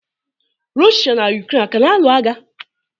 Rọshịa na Yukren a kana anụ agha?